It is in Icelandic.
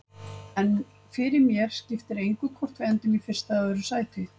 En fyrir mér skiptir engu hvort við endum í fyrsta eða öðru sæti.